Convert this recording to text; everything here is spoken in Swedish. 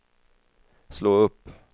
slå upp